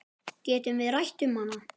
Getum við rætt um hann?